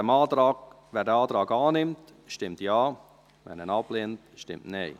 Wer den Antrag annimmt, stimmt Ja, wer diesen ablehnt, stimmt Nein.